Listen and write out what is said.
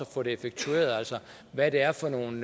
få det effektueret altså hvad det er for nogle